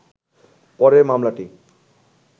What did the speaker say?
পরে মামলাটি